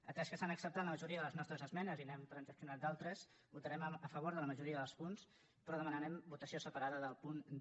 atès que s’han acceptat la majoria de les nostres esmenes i n’hem transaccionat d’altres votarem a favor de la majoria dels punts però demanarem votació separada del punt d